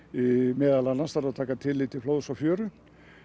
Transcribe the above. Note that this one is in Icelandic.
meðal annars þarf að taka tillit til flóðs og fjöru